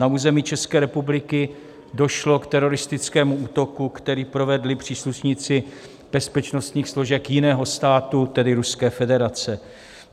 Na území České republiky došlo k teroristickému útoku, který provedli příslušníci bezpečnostních složek jiného státu, tedy Ruské federace.